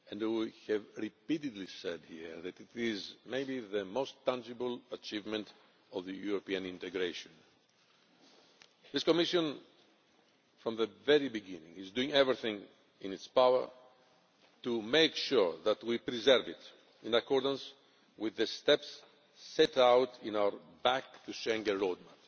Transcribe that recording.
We have repeatedly said here that it is maybe the most tangible achievement of the European integration. This Commission, from the very beginning, has done everything in its power to make sure that we preserve it in accordance with the steps set out in our Back to Schengen roadmap.